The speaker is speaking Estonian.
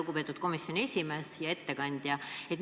Lugupeetud komisjoni esimees ja ettekandja!